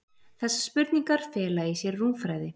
Þessar spurningar fela í sér rúmfræði.